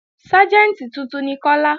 Ságẹ̀ntì tuntun ni Kọ́lá